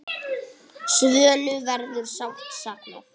Svönu verður sárt saknað.